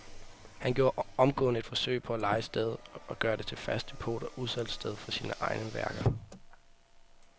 Han gjorde omgående et forsøg på at leje stedet og gøre det til fast depot og udsalgssted for sine egne værker.